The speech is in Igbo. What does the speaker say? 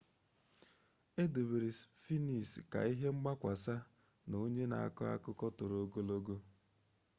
edobere sphinx ka ihe mgbakwasa na onye na ako akuko toro ogologo